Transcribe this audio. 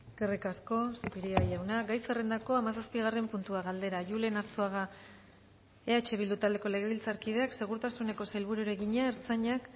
eskerrik asko zupiria jauna gai zerrendako hamazazpigarren puntua galdera julen arzuaga gumuzio eh bildu taldeko legebiltzarkideak segurtasuneko sailburuari egina